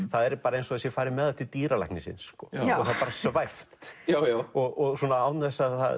það er eins og það sé farið með það til dýralæknisins og það svæft svona án þess að það